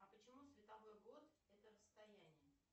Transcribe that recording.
а почему световой год это расстояние